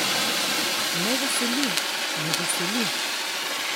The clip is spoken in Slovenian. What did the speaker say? Me veseli, me veseli!